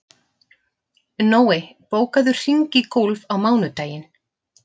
Nói, bókaðu hring í golf á mánudaginn.